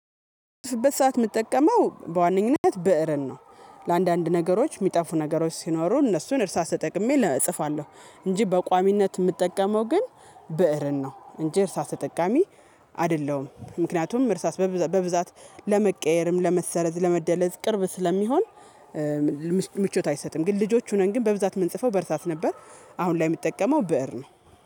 በዝህ ሰዓት ምጠቀመው በዋነኝነት በእርን ነው። ለአንዳንድ ነገሮች ሚጠፉ ነገሮች ሲኖሩ እነሱን እርሳስ ተጠቅሜ እጽፋለሁ እንጂ በቋሚነት እምጠቀመው ግን ብእርን ነው እንጂ እርሳስ ተጠቃሚ አደለሁም። ምክንያቱም እርሳስ በብዛት ለመቀየርም ለመሰረዝ ለመደለዝ ቅርብ ስለሚሆን። ምቾት አይሰጥም። ግን ልጆች ሆነን ግን በብዛት ምንጽፈው በእርሳስ ነበር። አሁን ላይ ምጠቀመው ብእር ነው